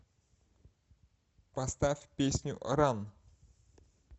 поставь песню ран